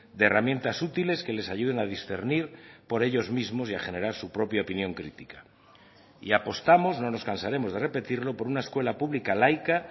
de herramientas útiles que les ayuden a discernir por ellos mismos y a generar su propia opinión crítica y apostamos no nos cansaremos de repetirlo por una escuela pública laica